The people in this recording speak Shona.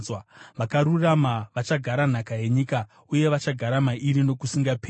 vakarurama vachagara nhaka yenyika uye vachagara mairi nokusingaperi.